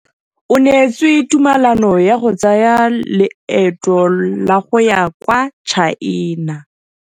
O neetswe tumalanô ya go tsaya loetô la go ya kwa China.